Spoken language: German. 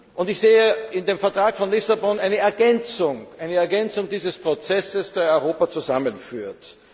Und ich sehe in dem Vertrag von Lissabon eine Ergänzung dieses Prozesses, der Europa zusammenführt.